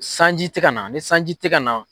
Sanji tɛ ka na, ni sanji tɛ ka na.